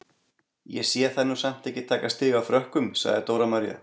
Ég sé þær nú samt ekki taka stig af Frökkum, sagði Dóra María.